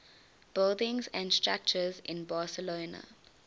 buildings and structures in barcelona